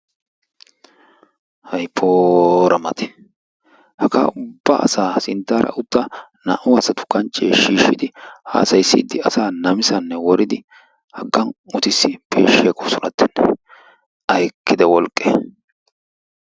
hay poora mati haggaa ubba asaa ha sinttaara utta naa"u asa kanchchee shiishshidi asaa namisane woridi haggan utissidi peeshshi aggoosonattenne. ayy ekkida wolqqe!